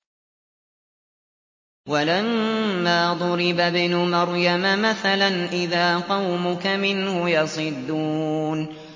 ۞ وَلَمَّا ضُرِبَ ابْنُ مَرْيَمَ مَثَلًا إِذَا قَوْمُكَ مِنْهُ يَصِدُّونَ